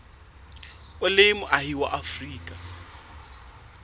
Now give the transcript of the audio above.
o le moahi wa afrika